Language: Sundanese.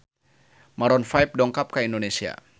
Maroon 5 dongkap ka Indonesia